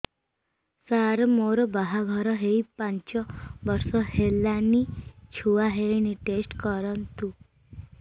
ସାର ମୋର ବାହାଘର ହେଇ ପାଞ୍ଚ ବର୍ଷ ହେଲାନି ଛୁଆ ହେଇନି ଟେଷ୍ଟ କରନ୍ତୁ